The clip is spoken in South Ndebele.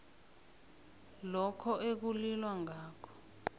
lokho ekulilwa ngakho